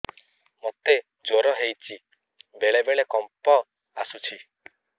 ମୋତେ ଜ୍ୱର ହେଇଚି ବେଳେ ବେଳେ କମ୍ପ ଆସୁଛି